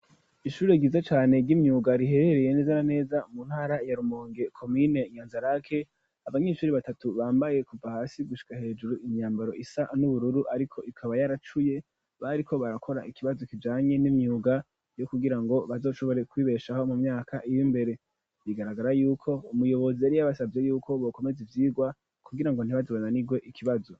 ishuri ryiza cane ry'imyuga riherereye neza na neza mu ntara ya Rumonge komine inyanzarake abanyeshuri batatu bambaye kuva hasi gushika hejuru imyambaro isa n'ubururu ariko ikaba yaracuye bariko barakora ikibazo kijanye n'imyuga yo kugira ngo bazoshobore kwibeshaho mu myaka iri imbere bigaragara yuko umuyobozi yari yabasabye yuko bokomeze ivyigwa kugira ngo ntibaze bananigwe ikibazo.